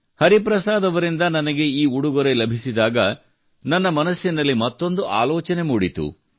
ಹರಿಪ್ರಸಾದ್ ಅವರಿಂದ ನನಗೆ ಈ ಉಡುಗೊರೆ ಲಭಿಸಿದಾಗ ನನ್ನ ಮನಸ್ಸಿನಲ್ಲಿ ಮತ್ತೊಂದು ಆಲೋಚನೆ ಮೂಡಿತು